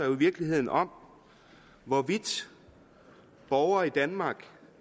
i virkeligheden om hvorvidt borgere i danmark